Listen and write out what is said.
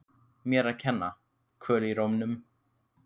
Mér að kenna- Kvöl í rómnum.